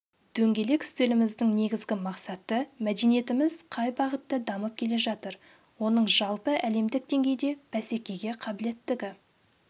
дөңгелек үстеліміздің негізгі мақсаты мәдениетіміз қай бағытта дамып келе жатыр оның жалпы әлемдік деңгейде бәсекеге қабілеттігі